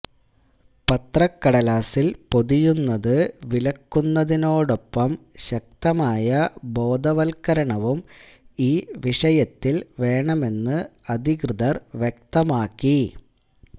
പത്രകടലാസില് പൊതിയുന്നത് വിലക്കുന്നതിനോടൊപ്പം ശക്തമായ ബോധവത്കരണവും ഈ വിഷയത്തില് വേണമെന്ന് അധികൃതര് വ്യക്തമാക്കി